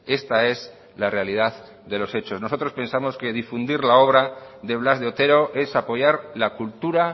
esta es la realidad de los hechos nosotros pensamos que difundir la obra de blas de otero es apoyar la cultura